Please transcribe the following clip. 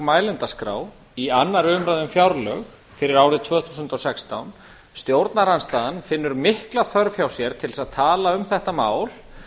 mælendaskrá í annarri umræðu um fjárlög fyrir árið tvö þúsund og sextán stjórnarandstaðan finnur mikla þörf hjá sér til að tala um þetta mál